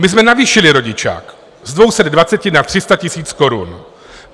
My jsme navýšili rodičák z 220 na 300 000 korun.